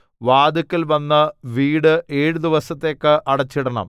വാതില്ക്കൽ വന്നു വീട് ഏഴു ദിവസത്തേക്ക് അടച്ചിടണം